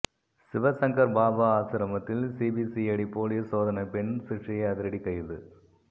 சிவசங்கர் பாபா ஆசிரமத்தில் CBCID police சோதனை பெண் சிஷ்யை அதிரடி கைது